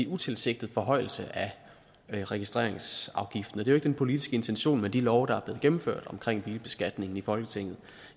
utilsigtet forhøjelse af registreringsafgiften og det er den politiske intention med de love der blev gennemført omkring bilbeskatningen i folketinget